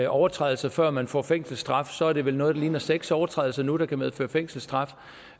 overtrædelser før man får fængselsstraf er det vel noget der ligner seks overtrædelser nu der kan medføre fængselsstraf